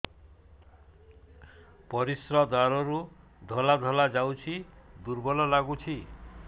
ପରିଶ୍ରା ଦ୍ୱାର ରୁ ଧଳା ଧଳା ଯାଉଚି ଦୁର୍ବଳ ଲାଗୁଚି